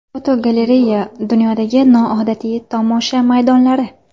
Fotogalereya: Dunyodagi noodatiy tomosha maydonlari.